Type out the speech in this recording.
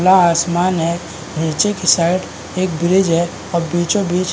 खुला आसमन है नीचे के साइड एक ब्रिज है और बीचों बीच --